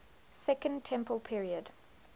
second temple period